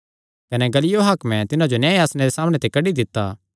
कने गल्लियो हाकमे तिन्हां जो न्याय आसणे दे सामणै ते कड्डी दित्ता